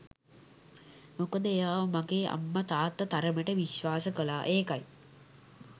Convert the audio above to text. මොකද එයාව මගේ අම්ම තාත්තා තරමට විශ්වාස කළා ඒකයි.